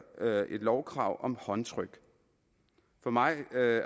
et lovkrav om håndtryk for mig